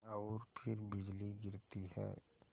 और फिर बिजली गिरती है